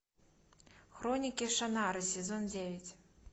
хроники шаннары сезон девять